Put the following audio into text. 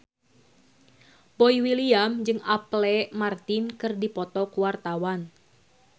Boy William jeung Apple Martin keur dipoto ku wartawan